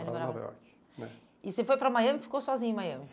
Ele morava em Nova Iorque né? E você foi para Miami e ficou sozinho em Miami?